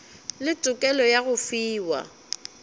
le tokelo ya go fiwa